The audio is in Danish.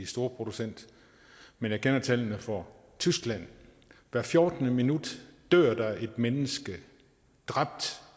storproducent men jeg kender tallene for tyskland hvert fjortende minut dør der et menneske dræbt